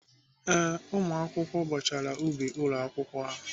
Ee, ụmụakwụkwọ bọchara ubi ụlọ akwụkwọ ha.